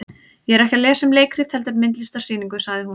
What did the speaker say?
Ég er ekki að lesa um leikrit heldur myndlistarsýningu, sagði hún.